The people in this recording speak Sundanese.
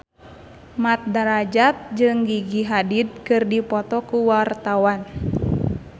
Mat Drajat jeung Gigi Hadid keur dipoto ku wartawan